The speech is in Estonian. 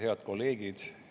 Head kolleegid!